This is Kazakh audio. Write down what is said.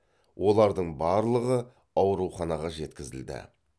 олардың барлығы ауруханаға жеткізілді